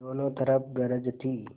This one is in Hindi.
दोनों तरफ गरज थी